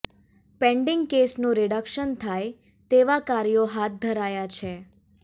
pending કેસનું reduction થાય તેવા કાર્યો હાથ ધરાયા છે